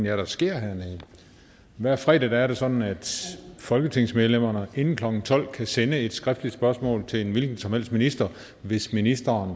er der sker hernede hver fredag er det sådan at folketingsmedlemmerne inden klokken tolv kan sende et skriftligt spørgsmål til en hvilken som helst minister hvis ministeren